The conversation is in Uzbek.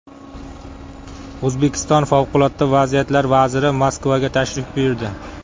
O‘zbekiston favqulodda vaziyatlar vaziri Moskvaga tashrif buyurdi.